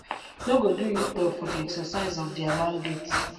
no go do uturn for di exercise of dia mandate